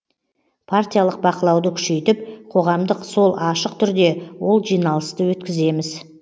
партиялық бақылауды күшейтіп қоғамдық сол ашық түрде ол жиналысты өткіземіз